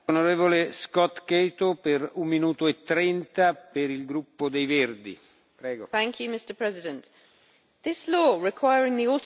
Mr President, this law requiring the automatic exchange of information about where companies make their money is a step towards transparency.